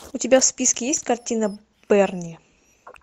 у тебя в списке есть картина берни